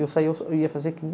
Eu saía, eu ia fazer quinze.